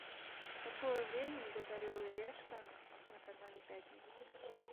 в какое время идет орел и решка на канале пятница